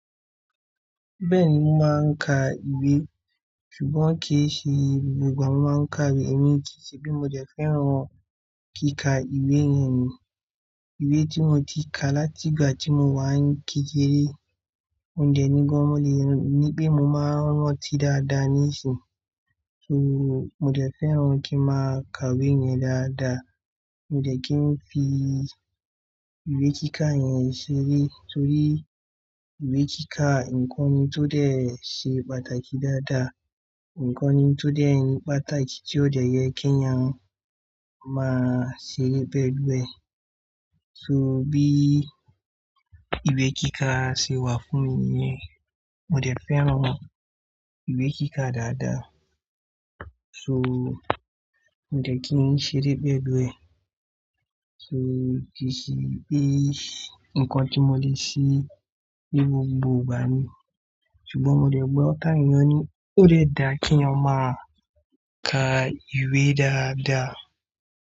Bẹ́ẹ̀ni, mo máa ń ka ìwé. Ṣùgbọ́n kì í ṣe gbogbo ìgbà mo máa ń ka ìwé, èmi kì í ṣe bí mo dẹ̀ fẹ́ràn kí ka ìwé yẹn ni. Ìwé tí mo ti ka láti ìgbà tí mo wà ní kékeré, mo dẹ̀ nígan mọ́ lé, ní pé mo máa ń rántí dáadáa níìsín. So mo dẹ̀ fẹ́ràn kí n máa ka ìwé yẹn dáadáa. Mo dẹ̀ kí n fi ìwé kíkà yẹn ṣeré torí ìwé kíkà, ǹkan ni tó dẹ̀ ṣe pàtàkì dáadáa. Ǹkan ni tó dẹ̀ ni pàtàkì tí ó dẹ̀ yẹ kí ènìyàn máa ṣe bẹ́ẹ̀ bẹ́ẹ̀. So bí ìwé kíkà ṣe wà fún mi yẹn, mo dẹ̀ fẹ́ràn ìwé kíkà dáadáa. So mo dẹ̀ kí n ṣeré bẹ́ẹ̀ bẹ́ẹ̀. So kì í ṣe pé nǹkan tí mo lè ṣe ní gbogbo ìgbà ni. Ṣùgbọ́n mo lẹ̀ gbọ́ táwon eyàn ni ó dẹ̀ dá kí ènìyàn máa ka ìwé dáadáa.